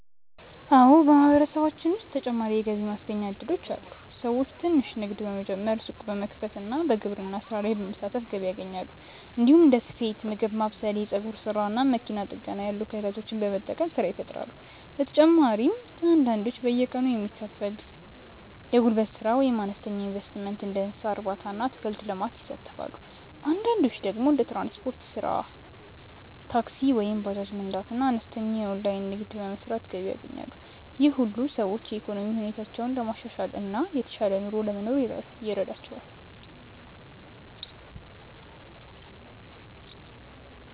አዎ፣ በማህበረሰባችን ውስጥ ተጨማሪ የገቢ ማስገኛ እድሎች አሉ። ሰዎች ትንሽ ንግድ በመጀመር፣ ሱቅ በመክፈት እና በግብርና ስራ በመሳተፍ ገቢ ያገኛሉ። እንዲሁም እንደ ስፌት፣ ምግብ ማብሰል፣ የፀጉር ስራ እና መኪና ጥገና ያሉ ክህሎቶችን በመጠቀም ስራ ይፈጥራሉ። በተጨማሪም አንዳንዶች በየቀኑ የሚከፈል የጉልበት ስራ ወይም በአነስተኛ ኢንቨስትመንት እንደ እንስሳ እርባታ እና አትክልት ልማት ይሳተፋሉ። አንዳንዶች ደግሞ እንደ ትራንስፖርት ስራ (ታክሲ ወይም ባጃጅ መንዳት) እና አነስተኛ የኦንላይን ንግድ በመስራት ገቢ ያገኛሉ። ይህ ሁሉ ሰዎች የኢኮኖሚ ሁኔታቸውን ለማሻሻል እና የተሻለ ኑሮ ለመኖር ይረዳቸዋል።